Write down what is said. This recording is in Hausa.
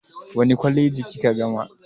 Wace kwaleji kika gama?